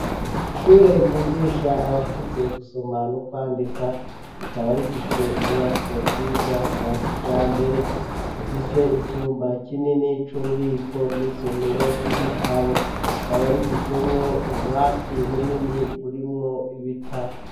Ishure ryigisha abakuze gusoma no kwandika rikaba rifise inyubako nziza za kijambere zifise icumba kinini c'ububiko n'isomero ry'ibitabo rikaba rifisemwo ububati bunini burimwo ibitabo.